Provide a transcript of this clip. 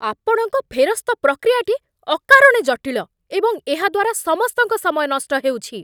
ଆପଣଙ୍କ ଫେରସ୍ତ ପ୍ରକ୍ରିୟାଟି ଅକାରଣେ ଜଟିଳ, ଏବଂ ଏହାଦ୍ଵାରା ସମସ୍ତଙ୍କ ସମୟ ନଷ୍ଟ ହେଉଛି।